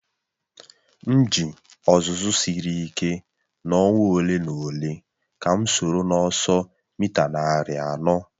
M ji ọzụzụ siri ike n'ọnwa ole na ole ka m soro n'ọsọ mita narị anọ.